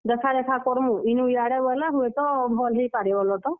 ଦେଖା ରେଖା କରମୁଁ, ଇନୁ ଇଆଡେ ବେଲେ ଭଲ୍ ହେଇପାରେ ବଲ ତ।